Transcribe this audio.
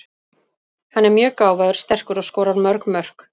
Hann er mjög gáfaður, sterkur og skorar mörg mörk.